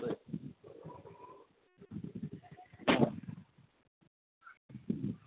हा तर